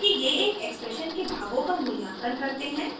क्योंकि ये एक एक्सप्रेशन के भागों का मूल्यांकन करते हैं